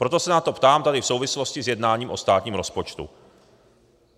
Proto se na to ptám tady v souvislosti s jednáním o státním rozpočtu.